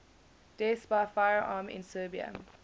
deaths by firearm in serbia